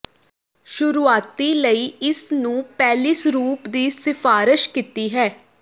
ਸ਼ੁਰੂਆਤੀ ਲਈ ਇਸ ਨੂੰ ਪਹਿਲੀ ਸਰੂਪ ਦੀ ਸਿਫਾਰਸ਼ ਕੀਤੀ ਹੈ